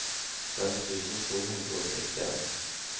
fem tusen to hundre og sekstien